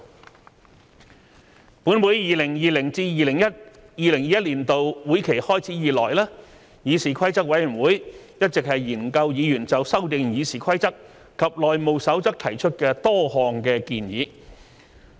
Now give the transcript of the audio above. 立法會在 2020-2021 年度會期開始以來，議事規則委員會一直研究議員就修訂《議事規則》及《內務守則》提出的多項建議。